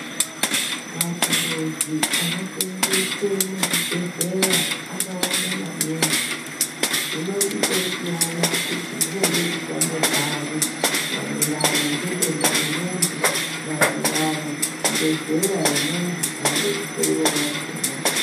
Mathuruzi ano seenzeswe muzvi bhedhleya akawanda maningi zvinochitosiyana kuti zvinode kushande pari maererano ngedenda remuntu, maererano ngezera remuntu unode kuhloyiwa wakhona.